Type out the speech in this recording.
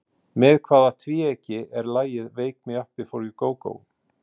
Með hvaða tvíeyki er lagið Wake me up before you go go?